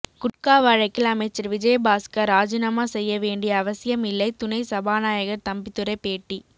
குட்கா வழக்கில் அமைச்சர் விஜயபாஸ்கர் ராஜினாமா செய்ய வேண்டிய அவசியம் இல்லை துணை சபாநாயகர் தம்பித்துரை பேட்டி